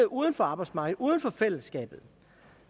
uden for arbejdsmarkedet uden for fællesskabet